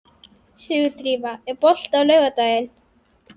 Sigurdrífa, er bolti á laugardaginn?